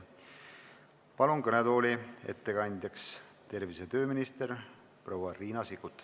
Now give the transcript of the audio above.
Palun kõnetooli tervise- ja tööminister proua Riina Sikkuti.